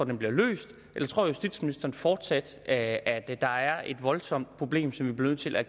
den bliver løst eller tror justitsministeren fortsat at at der er et voldsomt problem som vi bliver nødt til at